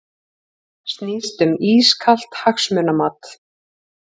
Snýst um ískalt hagsmunamat